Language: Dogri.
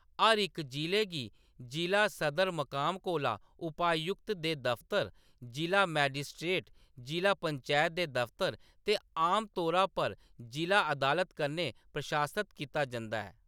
हर इक जिले गी जिला सदर-मकाम कोला उपायुक्त दे दफतर, जिʼला मजिस्ट्रेट, जिला पंचैत दे दफतर ते आमतौरा पर इक जिला अदालत कन्नै प्रशासत कीता जंदा ऐ।